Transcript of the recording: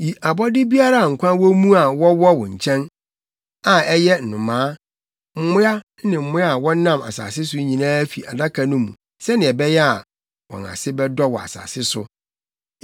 Yi abɔde biara a nkwa wɔ mu a wɔwɔ wo nkyɛn, a ɛyɛ nnomaa, mmoa ne mmoa a wɔnam asase so nyinaa fi Adaka no mu sɛnea ɛbɛyɛ a, wɔn ase bɛdɔ wɔ asase so.”